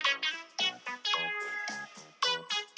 En móðurmálið lifði tært og lítt spillt á vörum almennings.